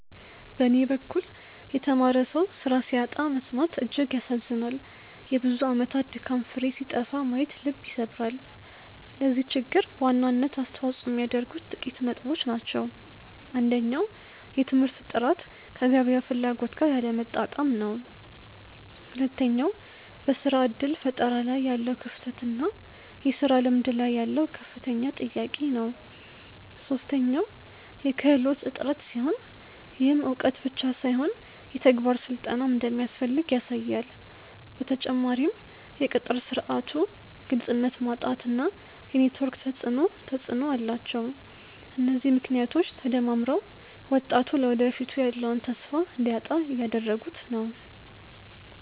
በኔ በኩል የተማረ ሰው ስራ ሲያጣ መሰማት እጅግ ያሳዝናል የብዙ አመታት ድካም ፍሬ ሲጠፋ ማየት ልብ ይሰብራል። ለዚህ ችግር በዋናነት አስተዋጽኦ የሚያደርጉት ጥቂት ነጥቦች ናቸው። አንደኛው የትምህርት ጥራት ከገበያው ፍላጎት ጋር ያለመጣጣም ነው። ሁለተኛው በስራ እድል ፈጠራ ላይ ያለው ክፍተት እና የስራ ልምድ ላይ ያለው ከፍተኛ ጥያቄ ነው። ሶስተኛው የክህሎት እጥረት ሲሆን፣ ይህም እውቀት ብቻ ሳይሆን የተግባር ስልጠናም እንደሚያስፈልግ ያሳያል። በተጨማሪም የቅጥር ስርዓቱ ግልጽነት ማጣት እና የኔትወርክ ተፅእኖ ተፅእኖ አላቸው። እነዚህ ምክንያቶች ተደማምረው ወጣቱ ለወደፊቱ ያለውን ተስፋ እንዲያጣ እያደረጉት ነው።